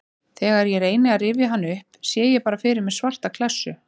Þegar ég reyni að rifja hann upp sé ég bara fyrir mér svarta klessu.